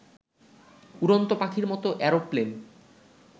উড়ন্ত পাখির মতো এরোপ্লেন